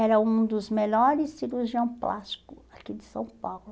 Era um dos melhores cirurgião plástico aqui de São Paulo.